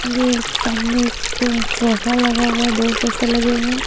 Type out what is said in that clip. ये एक सामने एक सोफा लगा हुआ है दो सोफे लगे हुए हैं।